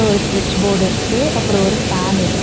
ஒரு ஸ்விட்ச் போர்டு இருக்கு அப்றோ ஒரு ஃபேன் இருக்கு.